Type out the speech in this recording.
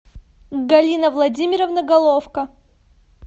галина владимировна головко